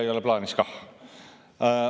Ei ole plaanis kah.